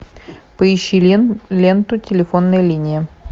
поищи ленту телефонная линия